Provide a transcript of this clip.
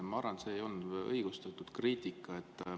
Ma arvan, et see ei olnud õigustatud kriitika.